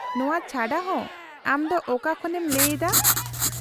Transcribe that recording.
-ᱱᱚᱶᱟ ᱪᱷᱟᱰᱟ ᱦᱚᱸ , ᱟᱢ ᱫᱚ ᱚᱠᱟ ᱠᱷᱚᱱᱮᱢ ᱞᱟᱹᱭ ᱮᱫᱟ ?